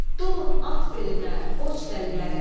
Dolun at belinə, qoç dəlilərim.